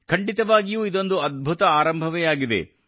ಖಂಡಿತವಾಗಿಯೂ ಇದೊಂದು ಅದ್ಭುತ ಆರಂಭವೇ ಆಗಿದೆ